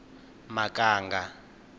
makanga